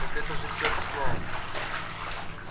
так это же все объясняет